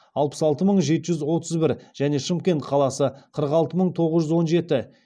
алпыс алты мың жеті жүз отыз бір және шымкент қаласы қырық алты мың тоғыз жүз он жеті